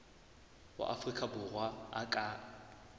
wa afrika borwa a ka